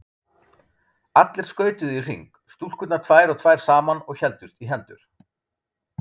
Allir skautuðu í hring, stúlkurnar tvær og tvær saman og héldust í hendur.